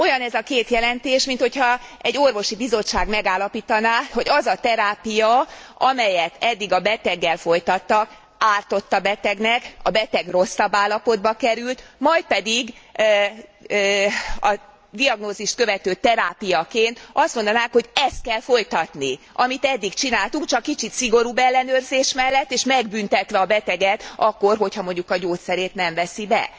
Olyan ez a két jelentés, mintha egy orvosi bizottság megállapítaná, hogy az a terápia, amelyet eddig a beteggel folytattak, ártott a betegnek, a beteg rosszabb állapotba került, majd pedig a diagnózist követő terápiaként azt mondanák, hogy ezt kell folytatni, amit eddig csináltunk, csak kicsit szigorúbb ellenőrzés mellett, és megbüntetve a beteget akkor, hogyha mondjuk a gyógyszerét nem veszi be.